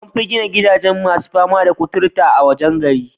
An fi gina gidajen masu fama da cutur kuturta a wajen gari.